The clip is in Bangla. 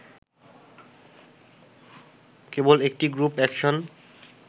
কেবল একটি গ্রুপ একশন